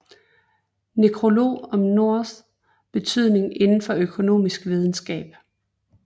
Nekrolog om Norths betydning indenfor økonomisk videnskab